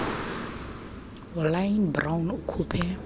ulynne brown ukhuphe